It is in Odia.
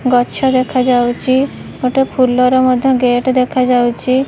ଗଛ ଦେଖାଯାଉଛି ଏବଂ ଫୁଲର ମଧ୍ୟ ଗେଟ ଦେଖାଯାଉଛି।